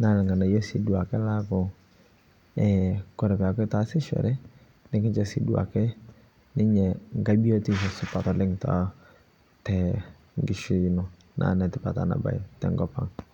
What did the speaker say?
naa ng'anayio siiduake laaku eeh kore peeku itaasishore nikincho sii duake ninye ngae biyotisho supat oleng to tenkishui ino, naa netipat ena bae tenkop ang.